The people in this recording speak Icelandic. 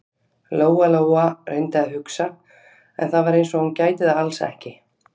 Lóa-Lóa reyndi að hugsa, en það var eins og hún gæti það alls ekki.